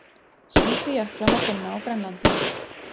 Slíka jökla má finna á Grænlandi.